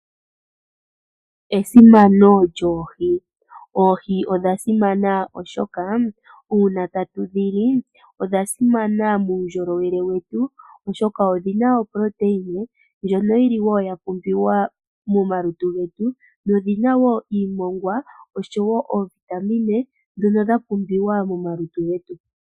Esimano lyoohi, oohi odha simana oshoka uuna tatu dhi li odha simana muundjolowele wetu oshoka odhina oprotein ndjono yili wo ya pumbiwa momalutu getu nodhina wo iimongwa oshowo oovitamin ndhono dha pumbiwa momalutu getu.